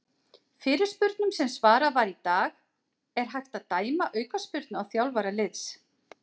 Fyrirspurnum sem svarað var í dag:- Er hægt að dæma aukaspyrnu á þjálfara liðs?